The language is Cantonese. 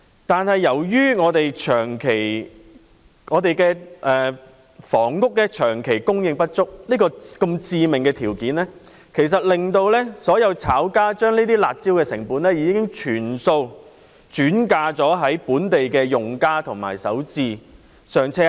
但是，由於本港房屋長期供應不足，這個致命的條件已令所有"炒家"把"辣招"的成本全數轉嫁本地用家及首置"上車"客。